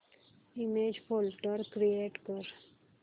image folder create कर